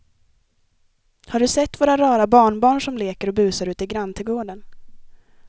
Har du sett våra rara barnbarn som leker och busar ute i grannträdgården!